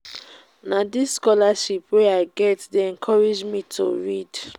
na dis scholarship wey i get dey encourage me to read.